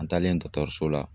An taalen o la